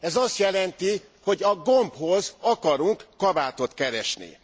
Ez azt jelenti, hogy a gombhoz akarok kabátot keresni.